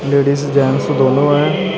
Ladies gents ਦੋਨੋ ਹੈਂ।